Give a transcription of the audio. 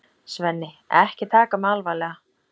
Svenni, ekki taka mig alvarlega.